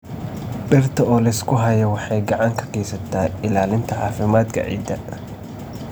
Dhirta oo la isku hayo waxay gacan ka geysataa ilaalinta caafimaadka ciidda.